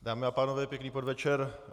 Dámy a pánové, pěkný podvečer.